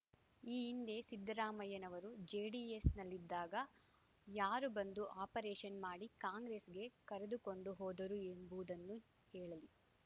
ಈ ಹಿಂದೆ ಸಿದ್ದರಾಮಯ್ಯನವರು ಜೆಡಿಎಸ್‌ನಲ್ಲಿದ್ದಾಗ ಯಾರು ಬಂದು ಆಪರೇಷನ್‌ ಮಾಡಿ ಕಾಂಗ್ರೆಸ್‌ಗೆ ಕರೆದುಕೊಂಡು ಹೋದರು ಎಂಬುವುದನ್ನು ಹೇಳಲಿ